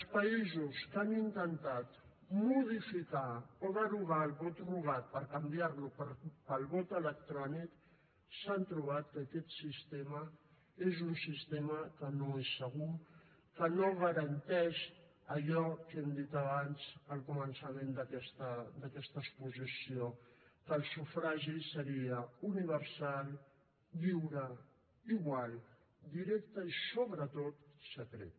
els països que han intentat modificar o derogar el vot rogat per canviar lo pel vot electrònic s’han trobat que aquest sistema és un sistema que no és segur que no garanteix allò que hem dit abans al començament d’aquesta exposició que el sufragi seria universal lliure igual directe i sobretot secret